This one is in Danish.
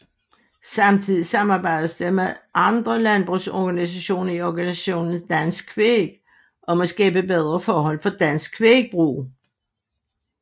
Samtidig samarbejdes der med andre landbrugsorganisationer i organisationen Dansk Kvæg om at skabe bedre forhold for dansk kvægbrug